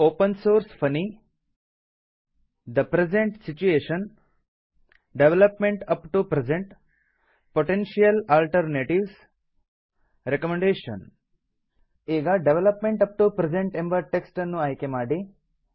open source funny the present situation development up to present potential alternatives recommendation ಈಗ development up to present ಎಂಬ text ಅನ್ನು ಆಯ್ಕೆ ಮಾಡಿ